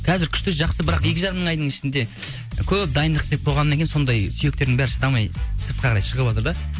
қазір күшті жақсы бірақ екі жарым айдың ішінде көп дайындық істеп қойғаннан кейін сондай сүйіктердің бәрі шыдамай сыртқа қарай шығыватыр да